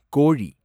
கோழி